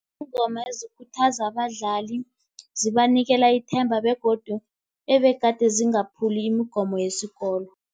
Iingoma ezikhuthaza abadlali, zibanikela ithemba begodu ebegade zingaphuli imigomo yesikolo.